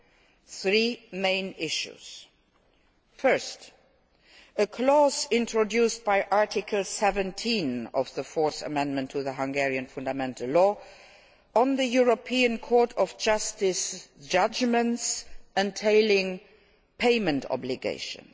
There are three main issues firstly, a clause, introduced by Article 17 of the Fourth Amendment to the Hungarian fundamental law, on European Court of Justice judgments entailing payment obligations.